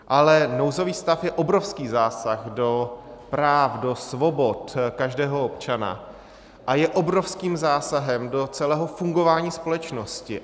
Ale nouzový stav je obrovský zásah do práv, do svobod každého občana a je obrovským zásahem do celého fungování společnosti.